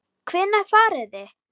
Hvenær farið þið?